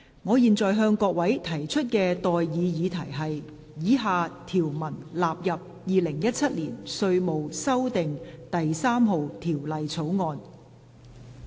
我現在向各位提出的待議議題是：以下條文納入《2017年稅務條例草案》。